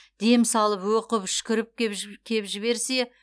дем салып оқып үшкіріп кеп жіберсе